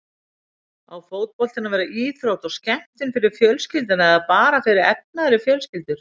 Á fótboltinn að vera íþrótt og skemmtun fyrir fjölskylduna eða bara fyrir efnaðri fjölskyldur?